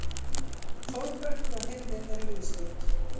Þórbergur og hirðin eru viðstödd.